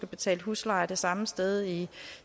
betalt husleje det samme sted i